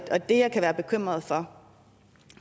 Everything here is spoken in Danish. og det jeg kan være bekymret for